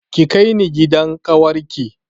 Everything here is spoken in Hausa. Ki kai ni gidan ƙawar ki